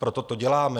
Proto to děláme.